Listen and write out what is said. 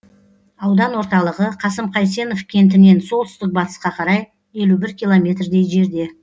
аудан орталығы қасым қайсенов кентінен солтүстік батысқа қарай елу бір километрдей жерде